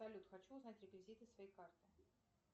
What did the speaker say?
салют хочу узнать реквизиты своей карты